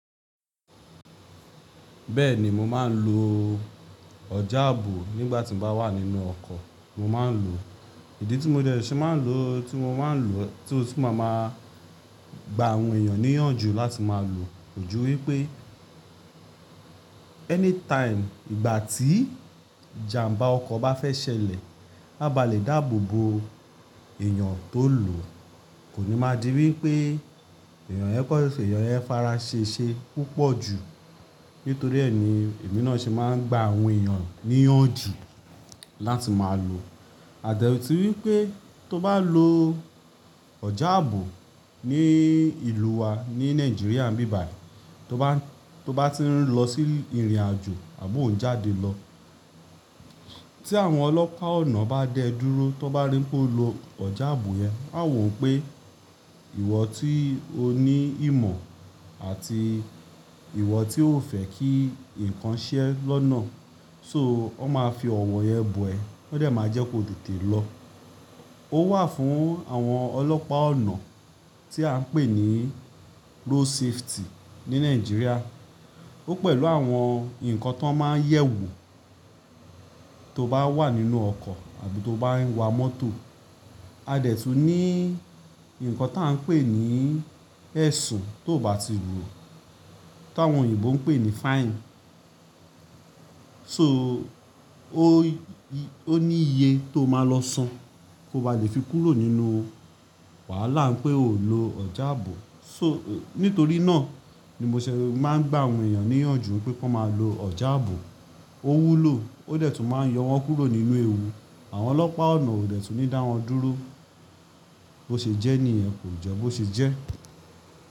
Bẹ́ẹ̀ni mo máa ń lo ọjà ààbò nígbà tí mo bá wà nínú ọkọ̀, mo máa ń lò ó. Ìdí tí mo dẹ̀ se máa ń lò ó tí mo máa ń lò ó tí ó tún máa ma gba àwọn èèyàn níyànjú láti máa lò ó jù wí pé anytime ìgbà tí ìjàmbá ọkọ̀ bá fẹ́ ṣẹlẹ̀, a bá lè dáàbò bo èèyàn tó lò ó. Kò ní máa di wí pé èèyàn yẹn kọ́, èèyàn yẹn fara ṣe ṣe púpọ̀ jù. Nítorí ẹ ni èmi náà ṣe máa ń gba àwọn èèyàn níyànjú láti máa lò ó. A dẹ̀ tún wí pé tó bá lo ọjà ààbò ní ìlú wa ní Nàìjíríà bíbà yìí, tó bá, tó bá ti ń lọ sí ìrìnàjò àbò ń jáde lọ, tí àwọn ọlọ́pàá ọ̀nà bá dẹ dúró, tó bá rí pé o lọ ọjà ààbò yẹn, a wò pé ìwọ tí o ní ìmọ̀ àti ìwọ tí o fẹ́ kí nǹkan ṣẹ́ lọ́nà. So ó máa fi ọ̀wọ̀n yẹn bu ẹ, ó dẹ̀ máa jẹ́ kó tètè lọ. Ó wà fún àwọn ọlọ́pàá ọ̀nà tí à ń pè ní road safety ní Nàìjíríà. Ó pẹ̀lú àwọn ǹkan tó máa ń yẹ̀wo tó bá wà nínú ọkọ̀ àbí tó bá ń wa mọ́tò. A dẹ̀ tún ní ǹkan tá ń pè ní ẹ̀sùn tó ò bá ti rù ú, tí àwọn òyìnbó ń pè ní fine. So ó ní iye tó máa lọ san kó bá lè fi kúrò nínú wàhálà pé ò ń lo ọjà ààbò. So nítorí náà ni mo ṣẹ̀ máa ń gba àwọn èèyàn níyànjú pé kí wọ́n máa lo ọjà ààbò. Ó wúlò, ó dẹ̀ tún máa ń yọ wọ́n kúrò nínú ewu. Àwọn ọlọ́pàá ọ̀nà ò dẹ̀ tún ní dá wọn dúró. Bo ṣe jẹ́ ní i ẹ kò jẹ́ bó ṣe jẹ́.